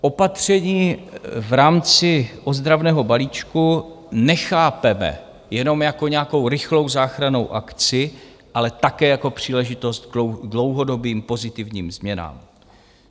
Opatření v rámci ozdravného balíčku nechápeme jenom jako nějakou rychlou záchrannou akci, ale také jako příležitost k dlouhodobým pozitivním změnám.